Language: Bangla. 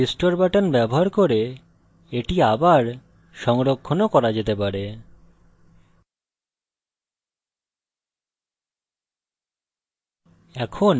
restore button ব্যবহার করে এটি পুনঃ সংরক্ষণ ও করা যেতে পারে